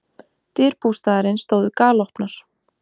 Dyr bústaðarins stóðu galopnar.